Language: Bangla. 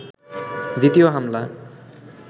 দ্বিতীয় হামলা